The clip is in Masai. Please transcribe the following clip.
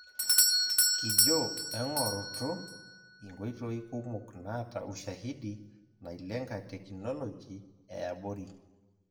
Kijo eng'orrutu inkoitoi kumok naata ushahidi nailenga tekinoloji eabori.